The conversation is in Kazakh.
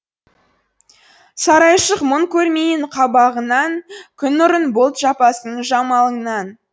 сарайшық мұң көрмейін қабағыңнан күн нұрын бұлт жаппасын жамалыңнан